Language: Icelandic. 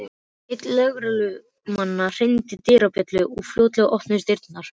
Einn lögreglumannanna hringdi dyrabjöllu og fljótlega opnuðust dyrnar.